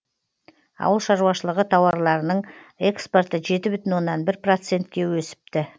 ауыл шаруашылығы тауарларының экспорты жеті бүтін оннан бір процентке өсіпті